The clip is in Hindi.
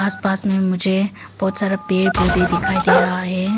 आस पास में मुझे बहुत सारा पेड़ पौधे दिखाई दे रहा है।